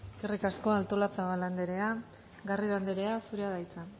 eskerrik asko artolazabal andrea garrido andrea zurea da hitza